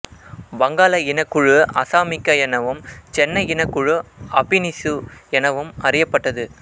வங்காள இனக்குழு அசாமிக்கா எனவும் சென்னை இனக்குழு அபினிசு எனவும் அறியப்பட்டது